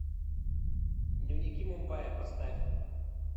дневники мумбая поставь